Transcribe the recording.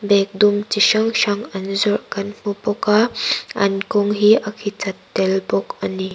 bag dum chi hrang hrang an zawrh kan hmu bawk a an kawng hi a khichat tel bawk a ni.